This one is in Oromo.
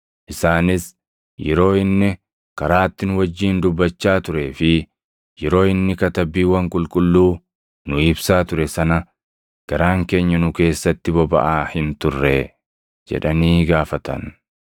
Isaanis, “Yeroo inni karaatti nu wajjin dubbachaa turee fi yeroo inni Katabbiiwwan Qulqulluu nuu ibsaa ture sana, garaan keenya nu keessatti bobaʼaa hin turree?” jedhanii wal gaafatan.